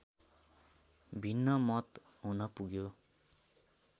भिन्न मत हुनपुग्यो